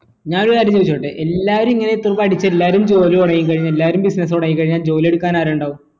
ഞാനൊരു കാര്യം ചോയ്‌ച്ചോട്ടെ എല്ലാരും ഇങ്ങനെ എത്തും പഠിച്ച് എല്ലാരും ജോലി തുടങ്ങി കഴിഞ്ഞ എല്ലാരും business തുടങ്ങി കഴിഞ്ഞ ജോലി എടുക്കാൻ ആര് ഇണ്ടാവു